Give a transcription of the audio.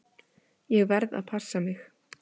Ég verð að passa mig.